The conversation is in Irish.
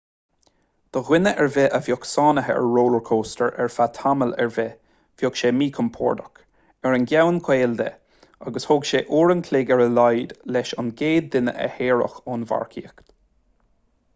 do dhuine ar bith a bheith sáinnithe ar rollchóstóir ar feadh tamall ar bith bheadh sé míchompordach ar an gceann caol de agus thóg sé uair an chloig ar a laghad leis an gcéad duine a shaoradh ón mharcaíocht